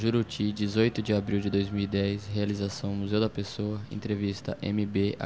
Juruti, dezoito de abril de dois mil e dez, realização Museu da Pessoa, entrevista eme bê